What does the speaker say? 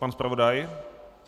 Pan zpravodaj?